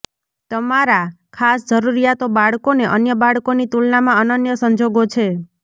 તમારા ખાસ જરૂરિયાતો બાળકોને અન્ય બાળકોની તુલનામાં અનન્ય સંજોગો છે